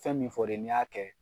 Fɛn min fɔri ye ni y'a kɛ.